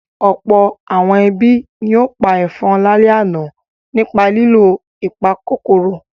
Ọ̀pọ̀ àwọn ẹbí ni ó pa ẹ̀fọn lálẹ́ àná nípa lílo ìpakòkòrò.